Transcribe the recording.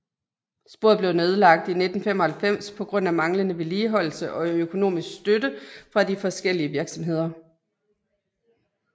Sporet blev nedlagt i 1995 på grund af manglende vedligeholdelse og økonomisk støtte fra de forskellige virksomheder